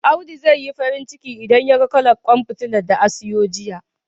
Audu zai yi farin ciki, idan yaga kalar ƙwan fitilar da a siyo jiya..